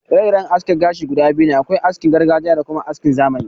Ire-iren aski kashi biyu ne: akwai askin gargajiya da kuma askin zamani